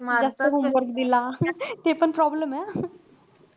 जास्त homework दिला. ते पण problem हे हं.